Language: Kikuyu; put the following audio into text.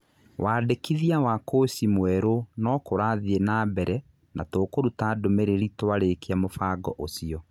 Wandĩkithia wa kũci mwerũ no kũrathiĩ na mbere na tũkũruta ndũmĩrĩri twarĩkia mũbango ũcio.